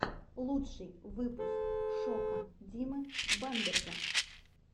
лучший выпуск шока димы бамберга